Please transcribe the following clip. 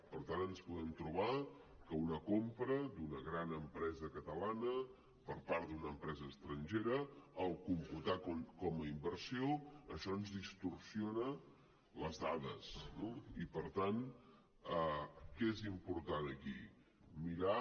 per tant ens podem trobar que una compra d’una gran empresa catalana per part d’una empresa estrangera en computar com a inversió això ens distorsiona les dades no i per tant què és important aquí mirar